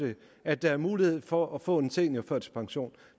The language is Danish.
at der er mulighed for at få en seniorførtidspension